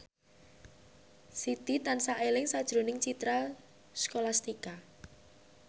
Siti tansah eling sakjroning Citra Scholastika